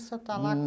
O senhor está lá?